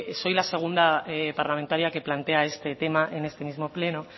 soy la segunda parlamentaria que plantea este tema en este mismo pleno